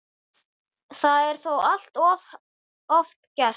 Það er þó allt of oft gert.